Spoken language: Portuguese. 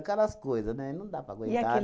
Aquelas coisas, né, e não dá para aguentar. E aquele